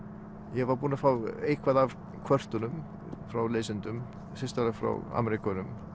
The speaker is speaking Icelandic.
ég var búinn að fá eitthvað af kvörtunum frá lesendum sérstaklega frá Ameríkönum